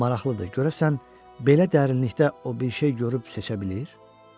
Maraqlıdır, görəsən, belə dərinlikdə o bir şey görüb seçə bilir?